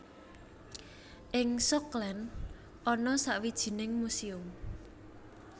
Ing Schokland ana sawijining muséum